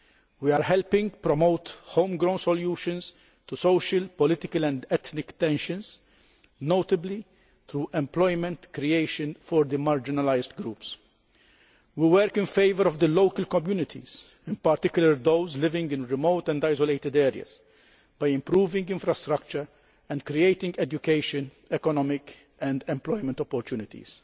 We are helping promote home grown solutions to social, political and ethnic tensions, notably through employment creation for the marginalised groups. We work to assist the local communities, in particular those living in remote and isolated areas, by improving infrastructure and creating educational, economic and employment opportunities.